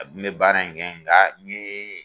Ne kun me baara in kɛ yen nka